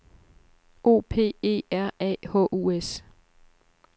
O P E R A H U S